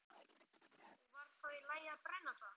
Og var þá í lagi að brenna það?